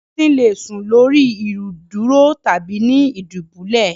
Esin le sùn lórí ìdúró tàbí ni ìdúbulẹ̀